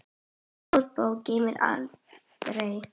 Góð bók geymir galdra.